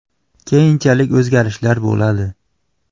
Keyinchalik o‘zgarishlar bo‘ladi.